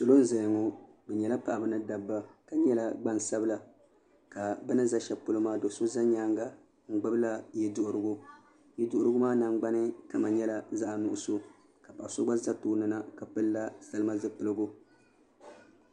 Prisin n boŋo bi nyɛla paɣaba ni dabba ka nyɛla gbansabila ka bi ni ʒɛ shɛli polo maa do so ʒɛ bi nyaanga n gbubila yɛ duɣurigu yɛ duɣurigu maa nangbani kama nyɛla zaɣ nuɣso ka so gba ʒɛ kpaŋ ni na ka pilila salima zipiligu